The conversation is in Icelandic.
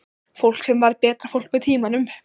Fólk sem varð betra fólk með tímanum.